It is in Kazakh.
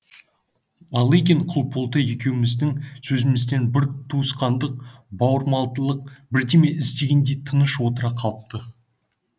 малыгин құлболды екеуміздің сөзімізден бір туысқандық бауырмалдық бірдеме іздегендей тыныш отыра қалыпты